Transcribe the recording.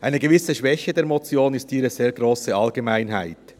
Eine gewisse Schwäche der Motion ist ihre sehr grosse Allgemeinheit.